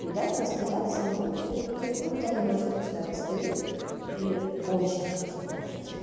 и дать настояться ну сутки ну хотя бы ночку пускай постоит и очень вкусно получится